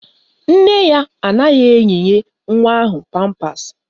Nne ya anaghị eyinye nwa ahụ pampasị